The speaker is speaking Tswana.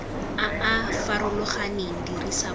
a a farologaneng dirisa puo